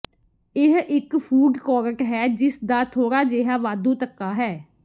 ਇਹ ਇਕ food court ਹੈ ਜਿਸਦਾ ਥੋੜਾ ਜਿਹਾ ਵਾਧੂ ਧੱਕਾ ਹੈ